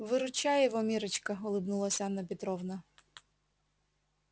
выручай его миррочка улыбнулась анна петровна